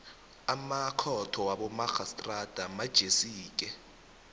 amakhotho wabomarhistrada manjesike